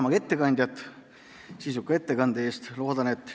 Tänan ettekandjat sisuka ettekande eest!